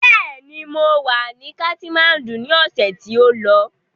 Bẹ́ẹ̀ ni, mọ wà ní katimáńdù ni ọ̀sẹ̀ tí ó lọ.